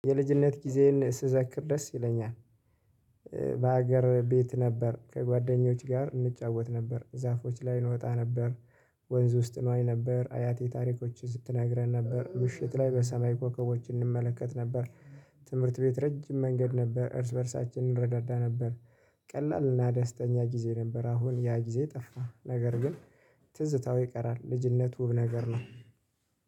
የልጅነት ጊዜዬን ስዘክር ደስ ይለኛል። በሀገር ቤት ነበር ከጓደኞቼ ጋር እንጫወት ነበር። ዛፎዎች ላይ እንወጣ ነበር። ወንዝ ውስጥ እንዋኝ ነበር። አያቴ ታሪኮችን ስትነግረን ነበር ምሽት ላይ በሰማይ ኮከቦችን እንመለከት ነበር። ትምህርት ቤት ረጅም መንገድ ነበር። እርስ በእርሳችን እንረዳዳ ነበር። ቀላልና ደስተኛ ጊዜ ነበር። አሁን ያ ጊዜ ጠፋ ነገር ግን ትዝታው ይቀራል። ልጅነቱ ነገር ነው።